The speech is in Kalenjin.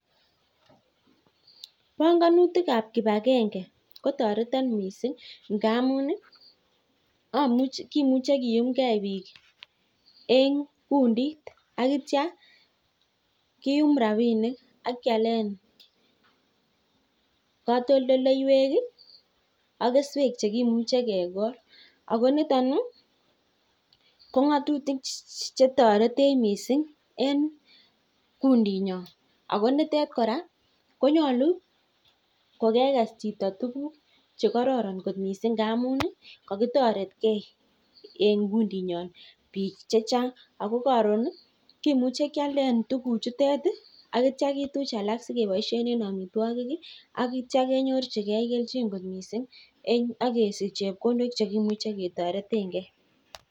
Panganutikab kipagenge kotoretin mising' ngaamun kimuche kiyumgei biik eng' kundit akitya kiyumi rabinik ak kialen katoldoleiwek ak keswek chekimuche kekol ako niton ko ng'otutik chetoretech mising' en kundit nyon ako nitet kora konyolu kokekes chito tukuk chekororon kot mising' ngaamun akotoretkei en kundit nyon biik chechang' ako karon kimuche kialden tukuchutet akityo kituch alak sikeboishen en omitwokik ak kityo kenyorchin keljin kot mising' akesich chepkondok cheimuche ketoretengei